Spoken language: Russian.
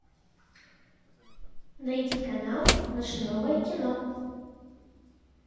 найди канал наше новое кино